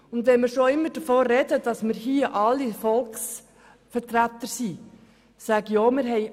Und wenn wir immer davon sprechen, dass wir hier alle Volksvertreter sind, sage ich auch: